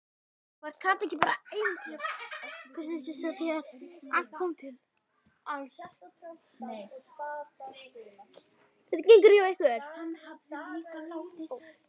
Var Kata ekki bara ævintýra- prinsessa þegar allt kom til alls?